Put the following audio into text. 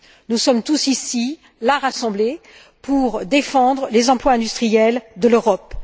Nous sommes tous ici, rassemblés, pour défendre les emplois industriels de l'Europe.